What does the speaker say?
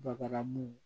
Babalamu